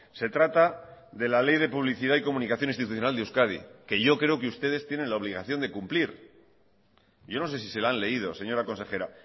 se trata de la ley de publicidad y comunicación institucional de euskadi que yo creo que ustedes tienen la obligación de cumplir yo no sé si se la han leído señora consejera